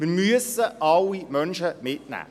Wir müssen alle Menschen mitnehmen.